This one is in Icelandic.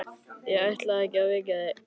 Ég ætlaði ekki að vekja þig.